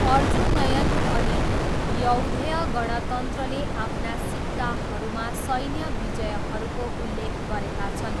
अर्जुनयन अनि यौधेय गणतन्त्रले आफ्ना सिक्काहरूमा सैन्य विजयहरूको उल्लेख गरेका छन्।